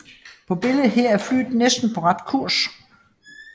På billedet her er flyet næsten på ret kurs